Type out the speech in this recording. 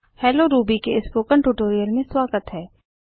hello Ruby के spoken tutorial में स्वागत है